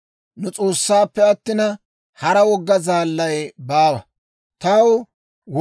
S'oossaappe attina, hara Med'inaa Goday baawa; nu S'oossaappe attina, hara wogga zaalli baawa.